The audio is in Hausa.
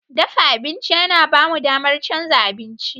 Dafa abinci yana ba mu damar canza abinci.